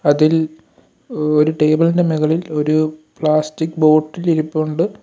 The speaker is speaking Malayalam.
അതിൽ ഒരു ടേബിൾ ഇന്റെ മുകളിൽ ഒരു പ്ലാസ്റ്റിക് ബോട്ടിൽ ഇരിപ്പുണ്ട്.